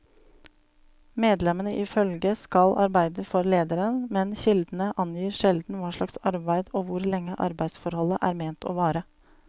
Medlemmene i følget skal arbeide for lederen, men kildene angir sjelden hva slags arbeid og hvor lenge arbeidsforholdet er ment å vare.